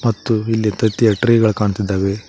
ಮತ್ತು ಇಲ್ಲಿ ತತ್ತಿಯ ಟ್ರೇ ಗಳ್ ಕಾಣ್ತಿದ್ದಾವೆ.